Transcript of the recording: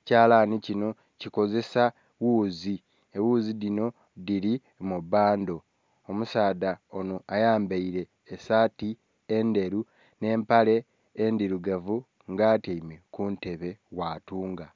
Ekyalani kino kikozesa wuuzi, ewuuzi dhino dhili mu bundle. Omusaadha onho ayambaile saati endheru nh'empale endhilugavu nga atyaime ku ntebe bwatunga.